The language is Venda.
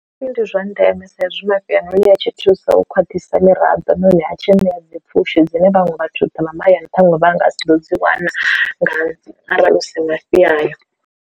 Ndi zwa ndeme sa izwi mafhi a hone a tshi thusa u khwaṱhisa miraḓo na hone a tshi ṋea dzipfushi dzine vhaṅwe vhathu vha mahayani ṱhaṅwe vha nga si ḓo dzi wana nga dzi arali hu si mafhi ayo.